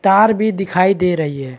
तार भी दिखाई दे रही है।